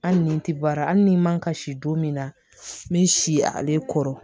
Hali ni n ti baara hali ni man kasi don min na n bɛ si ale kɔrɔ